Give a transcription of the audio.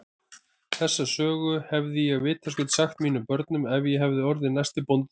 Þessa sögu hefði ég vitaskuld sagt mínum börnum ef ég hefði orðið næsti bóndi þarna.